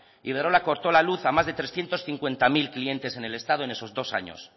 iberdrola cortó la luz a más de trescientos cincuenta mil clientes en el estado en esos dos años